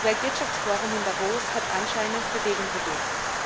Das Weltwirtschaftsforum in Davos hat anscheinend Bewegung bewirkt.